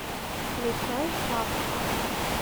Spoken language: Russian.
включай сашка